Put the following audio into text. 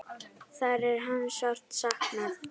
Þar er hans sárt saknað.